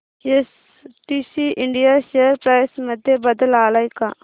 STC India share price मध्ये बदल आलाय का